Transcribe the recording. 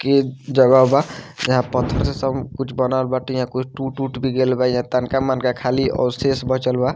की जगह बा यहाँ पत्थर से सब कुछ बनल बाटे यहाँ कुछ टूट-उट भी गेल बा यहाँ तनका-मनका खाली अवशेष बचल बा।